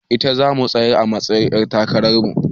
Ita zamu tsayar a matsa yin ƴar takarar mu